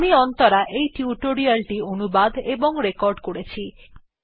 আমি অন্তরা এই টিউটোরিয়াল টি অনুবাদ এবং রেকর্ড করেছি